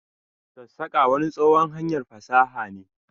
sassaka wani tsohuwan hanyar fasaha ne.